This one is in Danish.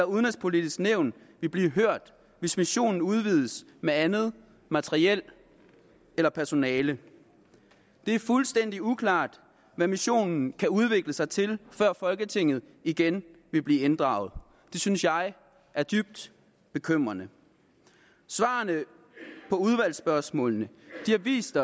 udenrigspolitiske nævn vil blive hørt hvis missionen udvides med andet materiel eller personel det er fuldstændig uklart hvad missionen kan udvikle sig til før folketinget igen vil blive inddraget det synes jeg er dybt bekymrende svarene på udvalgsspørgsmålene har vist